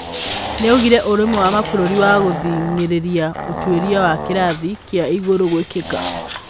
Nĩaugire ũrũmwe wa mabũrũrĩ wa gũthing'irĩria ũtwĩria wa kĩrathi kĩa igũru gwĩkika.